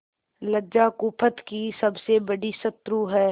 लज्जा कुपथ की सबसे बड़ी शत्रु है